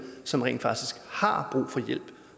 som rent faktisk har brug for hjælp